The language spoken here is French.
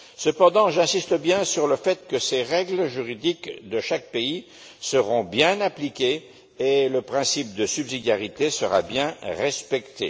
Cependant, j'insiste bien sur le fait que ces règles juridiques de chaque pays seront bien appliquées et que le principe de subsidiarité sera bien respecté.